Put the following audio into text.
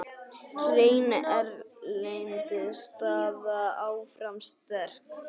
Hrein erlend staða áfram sterk.